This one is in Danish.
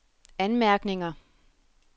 anmærkninger